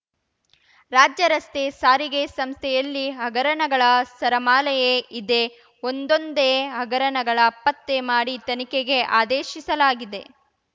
ರಾಜ್ಯ ರಸ್ತೆ ಸಾರಿಗೆ ಸಂಸ್ಥೆಯಲ್ಲಿ ಹಗರಣಗಳ ಸರಮಾಲೆಯೇ ಇದೆ ಒಂದೊಂದೇ ಹಗರಣಗಳ ಪತ್ತೆ ಮಾಡಿ ತನಿಖೆಗೆ ಆದೇಶಿಸಲಾಗಿದೆ